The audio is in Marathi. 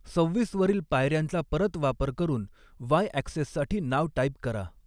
सव्हीसवरील पायऱ्यांचा परत वापर करून वाय ॲक्सेससाठी नाव टाइप करा.